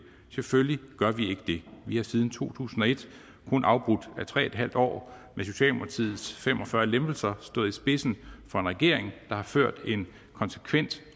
selvfølgelig gør vi ikke det vi har siden to tusind og et kun afbrudt af tre en halv år med socialdemokratiets fem og fyrre lempelser stået i spidsen for en regering der har ført en konsekvent